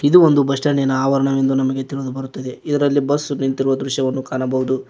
ಇದು ಒಂದು ಬಸ್ ಸ್ಟಾಂಡ್ಡಿನ ಆವರಣವೆಂದು ನಮಗೆ ತಿಳಿದು ಬರುತ್ತದೆ ಇದರಲ್ಲಿ ಬಸ್ ನಿಂತಿರುವ ದೃಶ್ಯವನ್ನು ಕಾಣಬೋದು.